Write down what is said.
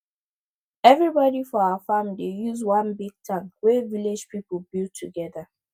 everybody for our farm dey use one big tank wey village people build together